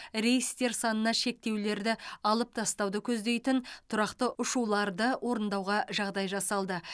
рейстер санына шектеулерді алып тастауды көздейтін тұрақты ұшуларды орындауға жағдай жасалды